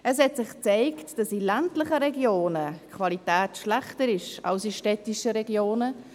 Es hat sich gezeigt, dass in ländlichen Regionen die Qualität schlechter ist als in städtischen Regionen.